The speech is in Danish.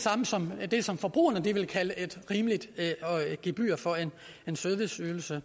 samme som det som forbrugerne vil kalde et rimeligt gebyr for en serviceydelse